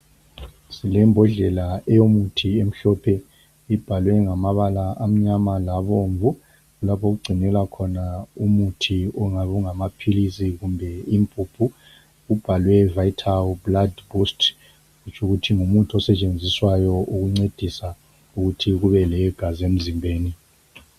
Silembodlela eyomuthi emhlophe ibhalwe ngama bala amnyama labomvu lapha okugcinwela khona umuthi ongabe ungama philizi kumbe impuphu kubhalwe vital blood bost kutsho ukuthi ngumuthi osetshenziswayo ukuncedisa ukuthi kube legazi emzimbeni.